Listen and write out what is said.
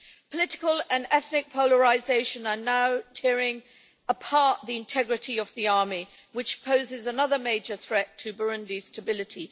Political and ethnic polarisation are now tearing apart the integrity of the army, posing another major threat to Burundi's stability.